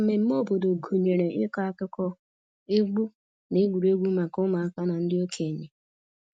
Mmemmé obodo gụnyere ịkọ akụkọ, egwu, na egwuregwu maka ụmụaka na ndị okenye